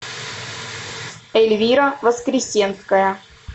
эльвира воскресенская